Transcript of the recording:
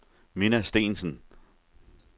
Minna Steensen